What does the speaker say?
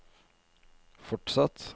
fortsatt